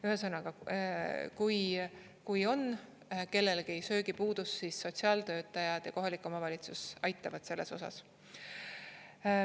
Ühesõnaga, kui on kellelgi söögipuudus, siis sotsiaaltöötajad ja kohalik omavalitsus aitavad selles osas.